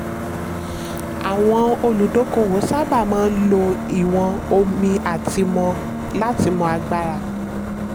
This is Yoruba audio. àwọn olùdókòwò sábà máa ń lò ìwọ̀n omi láti mọ agbára.